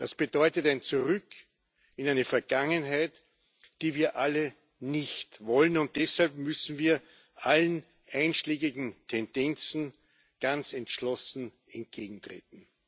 Das bedeutet ein Zurück in eine Vergangenheit, die wir alle nicht wollen, und deshalb müssen wir allen einschlägigen Tendenzen ganz entschlossen entgegentreten.